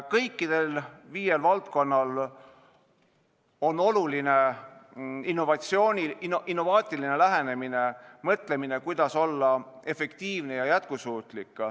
Kõikides viies valdkonnas on oluline innovaatiline lähenemine, mõtlemine, kuidas olla efektiivne ja jätkusuutlik.